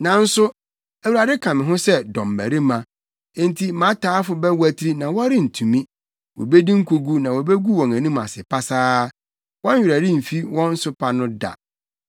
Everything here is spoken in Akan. Nanso Awurade ka me ho sɛ dɔmbarima; enti mʼataafo bɛwatiri na wɔrentumi. Wobedi nkogu na wobegu wɔn anim ase pasaa; wɔn werɛ remfi wɔn nsopa no da.